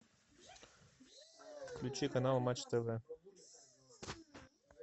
включи канал матч тв